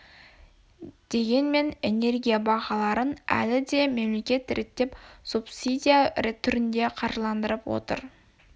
дегенмен энергия бағаларын әлі де мемлекет реттеп субсидия түрінде қаржылдандырып отыр